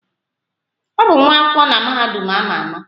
Ọ bụ nwa akwụkwọ na mahadum a ma ama.